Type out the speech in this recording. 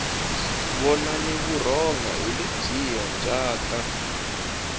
vonani vurhonga hi lebyiya bya ta